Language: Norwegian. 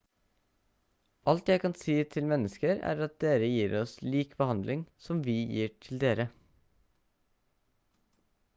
alt jeg kan si til mennesker er at dere gir oss lik behandling som vi gir til dere